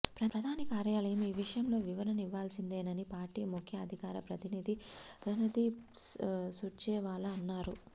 ప్రధాని కార్యాలయం ఈ విషయంలో వివరణ ఇవ్వాల్సిందేనని పార్టీ ముఖ్య అధికార ప్రతినిధి రణదీప్ సుర్జేవాలా అన్నారు